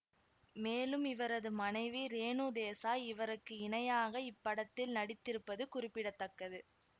மேலும் இவரது மனைவி ரேனு தேசாய் இவருக்கு இணையாக இப்படத்தில் நடித்திருப்பது குறிப்பிட தக்கது